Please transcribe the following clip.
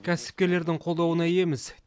кәсіпкерлердің қолдауына иеміз